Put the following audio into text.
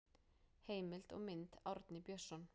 Heimild og mynd Árni Björnsson.